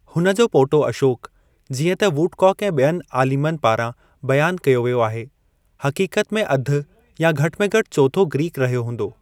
हुन जो पोटो अशोकु, जीअं त वुडकॉक ऐं ॿियनि आलिमनि पारां बयानु कयो वियो आहे, हक़ीक़त में अधि या घटि में घटि चोथो ग्रीकु रहियो हूंदो।